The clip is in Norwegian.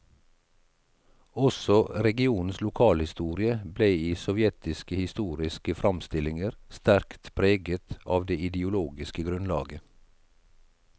Også regionens lokalhistorie ble i sovjetiske historiske framstillinger sterkt preget av det ideologiske grunnlaget.